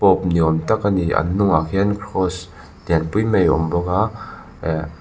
ni awm tak a ni an hnungah khian kraws lian pui mai a awm bawk a eh.